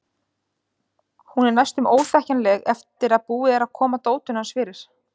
Hún er næstum óþekkjanleg eftir að búið er að koma dótinu hans fyrir.